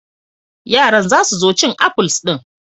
Yaran za su so cin afuls din.